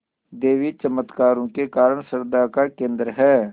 देवी चमत्कारों के कारण श्रद्धा का केन्द्र है